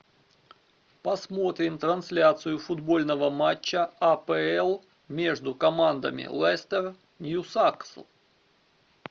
посмотрим трансляцию футбольного матча апл между командами лестер ньюкасл